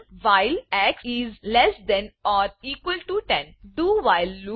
while while dowhile loop do while loop ઉદાહરણ